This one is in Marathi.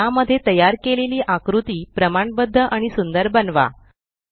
या ट्यूटोरियल मध्ये तयार केलेल्या आकृतीला अधिक प्रमाणबद्ध आणि सुंदर बनवा